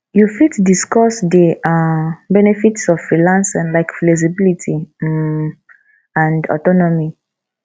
you fit discuss di um benefits of freelancing like flexibility um and autonomy